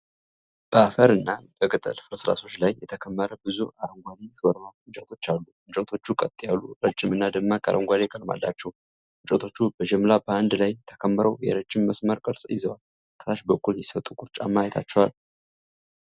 በአፈር እና በቅጠል ፍርስራሾች ላይ የተከመረ ብዙ አረንጓዴ የሾርባ እንጨቶች አሉ። እንጨቶቹ ቀጥ ያሉ፣ ረጅም እና ደማቅ አረንጓዴ ቀለም አላቸው። እንጨቶቹ በጅምላ በአንድ ላይ ተከምረው የረጅም መስመር ቅርፅ ይዘዋል። ከታች በኩል የሰው ጥቁር ጫማ አይታችኋል?